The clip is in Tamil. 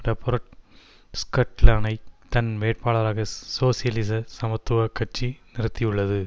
ரொபேர்ட் ஸ்கெல்டனை தன் வேட்பாளராக சோசியலிச சமத்துவ கட்சி நிறுத்தியுள்ளது